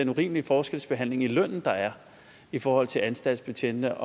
urimelige forskelsbehandling i lønnen der er i forhold til anstaltsbetjente